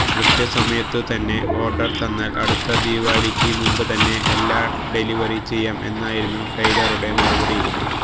കൃത്യ സമയത്തു തന്നെ ഓര്ഡര് തന്നാല് അടുത്ത ദിവാലിയ്ക്ക് മുമ്പുതന്നെ എല്ലാം ഡെലിവറി ചെയ്യാം എന്നായിരുന്നു ടെയ്ലറുടെ മറുപടി